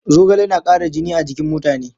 Zogale na ƙara jini a jikin mutane.